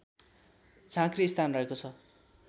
झाँक्री स्थान रहेको छ